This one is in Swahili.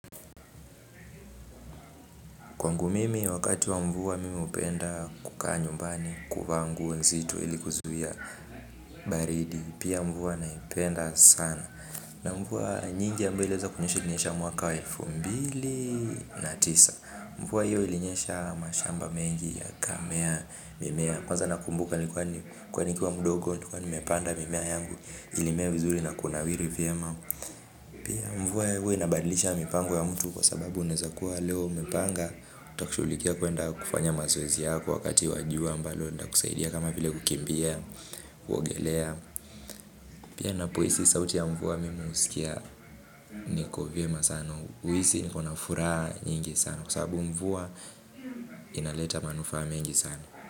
Kwangu mimi wakati wa mvua mimi hupenda kukaa nyumbani, kuvaa nguo nzito ili kuzuia baridi pia mvua naipenda sana na mvua nyingi ambayo iliweza kunyesha ilinyesha mwaka wa elfu mbili na tisa mvua hiyo ilinyesha mashamba mengi yakamea mimea kwanza nakumbuka nilikuwa nikiwa mdogo nilikuwa nimepanda mimea yangu ilimea vizuri na kunawiri vyema pia mvua huwa inabadilisha mipango ya mtu kwa sababu unaweza kuwa leo umepanga uta kushughulikia kuenda kufanya mazoezi yako wakati wa jua ambalo litakusaidia kama vile kukimbia, kuogelea pia ninapohisi sauti ya mvua mimi huskia niko vyema sana, huhisi.